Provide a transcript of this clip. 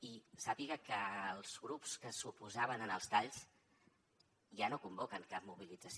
i sàpiga que els grups que s’oposaven als talls ja no convoquen cap mobilització